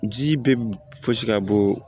Ji bɛ fosi ka bɔ